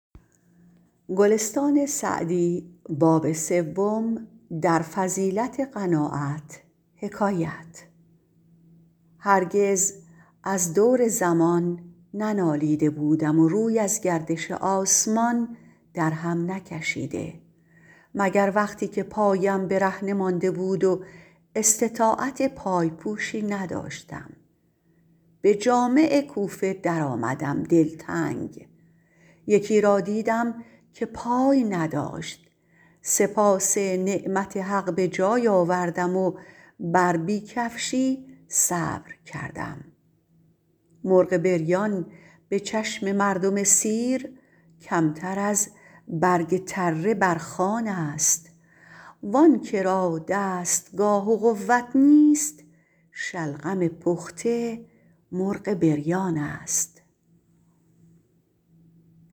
هرگز از دور زمان ننالیده بودم و روی از گردش آسمان در هم نکشیده مگر وقتی که پایم برهنه مانده بود و استطاعت پای پوشی نداشتم به جامع کوفه در آمدم دلتنگ یکی را دیدم که پای نداشت سپاس نعمت حق به جای آوردم و بر بی کفشی صبر کردم مرغ بریان به چشم مردم سیر کمتر از برگ تره بر خوان است وآن که را دستگاه و قوت نیست شلغم پخته مرغ بریان است